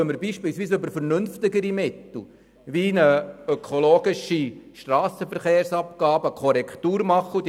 Dann können wir mit vernünftigen Mitteln wie beispielsweise ökologischen Strassenverkehrsabgaben Korrekturen anbringen.